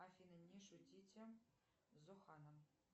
афина не шутите с зоханом